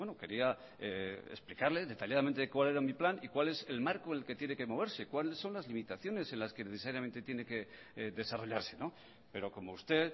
quería explicarle detalladamente cuál era mi plan y cuál es el marco el que tiene que moverse cuáles son las limitaciones en las que necesariamente tiene que desarrollarse pero como usted